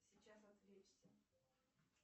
сейчас отвлечься